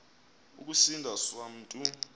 ukusindi swa mntu